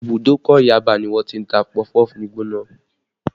Ìbùdókọ̀ Yaba ni wọ́n ti ń ta pọfupọ́ọ̀fù gbígbóná